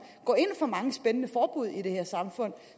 går ind for mange spændende forbud i det her samfund